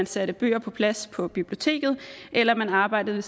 satte bøger på plads på biblioteket eller man arbejdede